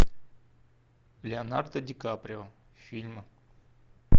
леонардо ди каприо фильмы